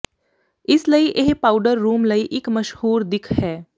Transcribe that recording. ਇਸ ਲਈ ਇਹ ਪਾਊਡਰ ਰੂਮ ਲਈ ਇਕ ਮਸ਼ਹੂਰ ਦਿੱਖ ਹੈ